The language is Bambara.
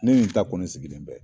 Ne yen ta kɔni sigilen bɛɛ